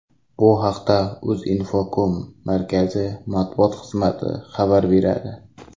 Bu haqda Uzinfocom markazi matbuot xizmati xabar beradi .